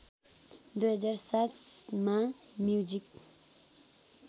२००७ मा म्युजिक